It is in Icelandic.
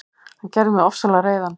Hann gerði mig ofsalega reiðan.